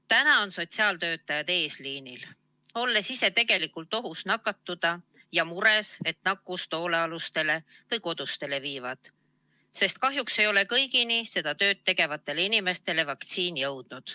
Täna on sotsiaaltöötajad eesliinil, olles ise tegelikult nakatumisohus ja mures, et nakkust hoolealustele või kodustele viivad, sest kahjuks ei ole kõigi seda tööd tegevate inimesteni vaktsiin veel jõudnud.